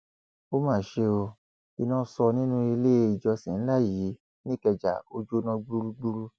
ó mà ṣe ó iná sọ nínú ilé ìjọsìn ńlá yìí nìkẹjà ò jó o gbúgbúrú